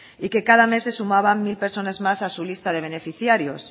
y queda mes de sumaban mil personas más a su lista de beneficiarios